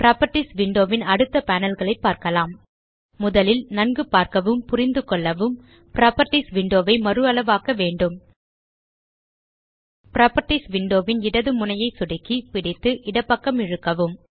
properties window ன் அடுத்த panel களை பார்க்கலாம் முதலில் நன்கு பார்க்கவும் புரிந்துகொள்ளவும் புராப்பர்ட்டீஸ் விண்டோ ஐ மறுஅளவாக்க வேண்டும் புராப்பர்ட்டீஸ் விண்டோ ன் இடது முனையை சொடுக்கி பிடித்து இடப்பக்கம் இழுக்கவும்